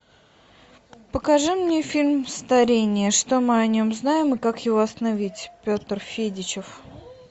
покажи мне фильм старение что мы о нем знаем и как его остановить петр федичев